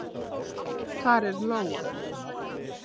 Hvar er Lóa?